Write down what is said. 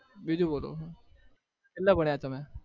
બીજું બોલો કેટલા ભણ્યા તમે?